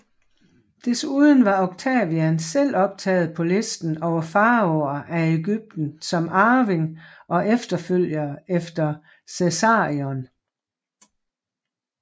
Desuden var Octavian selv optaget på listen over faraoer af Egypten som arving og efterfølger efter Cæsarion